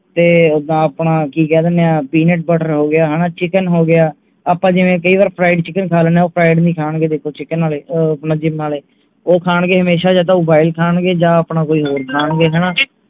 ਤੇ ਓਦਾਂ ਆਪਾਂ ਕਿ ਕਹਿ ਦਿੰਨੇ ਆ peanut butter ਹੋ ਗਿਆ ਹਣਾ chicken ਹੋ ਗਿਆ ਆਪਾਂ ਕਈ ਵਾਰ ਜਿਵੇਂ fried chicken ਖਾ ਲੈਣੇ ਉਹ fried ਨਹੀਂ ਖਾਣਗੇ ਦੇਖੋ chicken ਆਲੇ ਅਹ gym ਆਲੇ ਉਹ ਖਾਣਗੇ ਹਮੇਸ਼ਾ ਯਾ ਤਾ boil ਖਾਣਗੇ ਜਾ ਆਪਣਾ ਕੋਈ ਹੋਰ ਬਣਾਨਗੇਹਣਾ